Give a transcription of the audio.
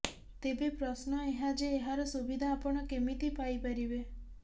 ତେବେ ପ୍ରଶ୍ନ ଏହା ଯେ ଏହାର ସୁବିଧା ଆପଣ କେମିତି ପାଇପାରିବେ